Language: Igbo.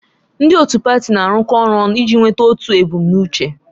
Ndị otu pati na-arụkọ ọrụ ọnụ iji nweta otu ebumnuche.